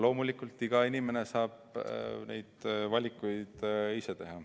Loomulikult iga inimene saab neid valikuid ise teha.